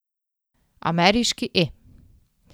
Ameriški E!